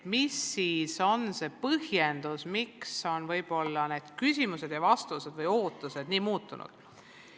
Mis on see põhjendus, miks need küsimused ja vastused või ootused on nii palju muutunud?